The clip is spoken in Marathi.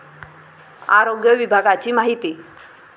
आरोग्य विभागाची माहिती